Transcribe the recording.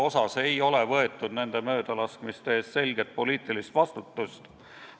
Samas ei ole tegelikult nende möödalaskmiste eest selget poliitilist vastutust võetud.